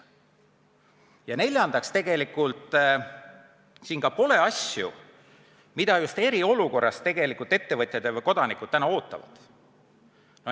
Ja neljandaks, siin ei ole asju, mida ettevõtjad ja ka kodanikud eriolukorras tegelikult täna ootavad.